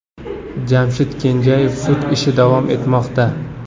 Jamshid Kenjayev sud ishi davom etmoqda.